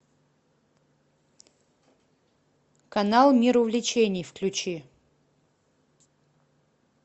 канал мир увлечений включи